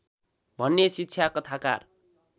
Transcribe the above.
भन्ने शिक्षा कथाकार